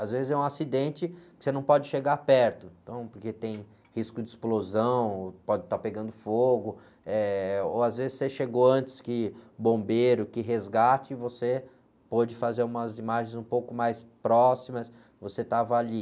Às vezes é um acidente que você não pode chegar perto, então, porque tem risco de explosão, pode estar pegando fogo, ou às vezes você chegou antes que o bombeiro, que resgate, você pôde fazer umas imagens um pouco mais próximas, você estava ali.